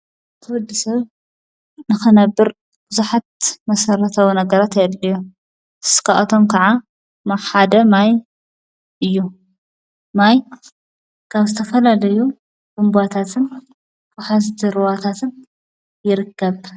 ትወዲ ሰብ ንኸነብር ብዙኃት መሠረተዊ ነገረ ኣየድልዮ ስካዖቶም ከዓ ማሓደ ማይ እዩ ማይ ካብ ስተፈላደዩ ጕምጓታትን ፍሓቲርዋታትን ይርከብ።